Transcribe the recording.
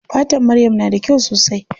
Fatar maryam na da kyau sosai.